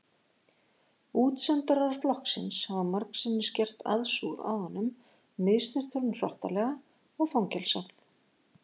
Útsendarar flokksins hafa margsinnis gert aðsúg að honum misþyrmt honum hrottalega og fangelsað.